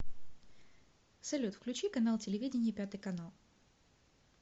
салют включи канал телевидения пятый канал